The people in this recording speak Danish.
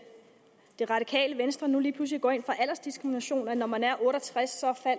det radikale venstre nu lige pludselig går ind for aldersdiskrimination at når man er otte og tres